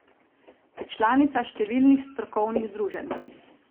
Je članica številnih strokovnih združenj.